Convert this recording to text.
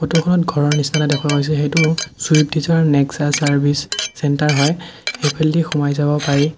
ফটোখনত ঘৰৰ নিচিনা এটা দেখুওৱা হৈছে সেইটো Swift Dzire Nexa service centre হয় সেইফালেদি সোমাই যাব পাৰি।